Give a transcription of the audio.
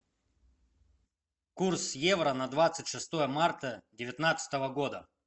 курс евро на двадцать шестое марта девятнадцатого года